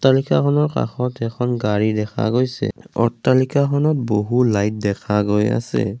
ৰিক্সাখনৰ কাষত এখন গাড়ী দেখা গৈছে অট্টালিকাখনত বহু লাইট দেখা গৈ আছে।